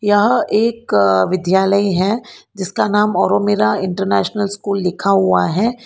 यह एक विद्यालय है जिसका नाम औरो मीरा इंटरनेशनल स्कूल लिखा हुआ है।